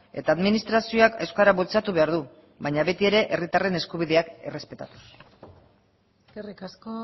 eta administrazioak euskara bultzatu behar du baina beti ere herritarren eskubideak errespetatuz eskerrik asko